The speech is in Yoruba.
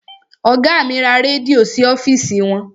Ọgá mi ra rẹ́díò sí ọ́fìsì wọn.